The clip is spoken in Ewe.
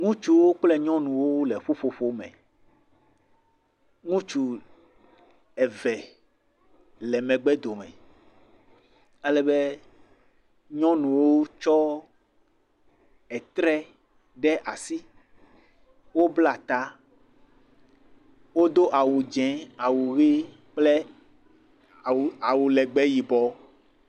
Ŋutsuwo kple nyɔnuwo le ƒuƒoƒo le me. Ŋutsu eve le megbe dome ale be nyɔnuwo tsɔ etre ɖe asi. Wobla ta, wodo awu dzẽ, awu ɣi kple awu legbe yibɔ.